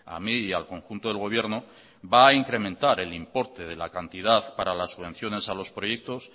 a mí y al conjunto del gobierno va a incrementar el importe de la cantidad para las subvenciones a los proyectos